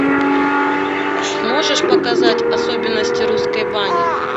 можешь показать особенности русской бани